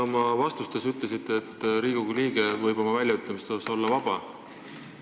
Te oma vastustes ütlesite, et Riigikogu liige võib oma väljaütlemistes olla vaba.